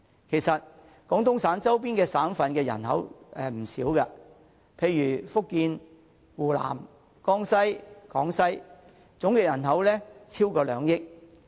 其實，廣東省周邊省份的人口並不少，例如福建、湖南、江西和廣西的總人口便超過兩億人。